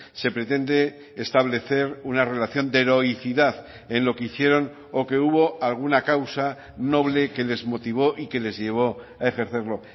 se pretende establecer una relación de heroicidad en lo que hicieron o que hubo alguna causa noble que les motivó y que les llevó a ejercerlo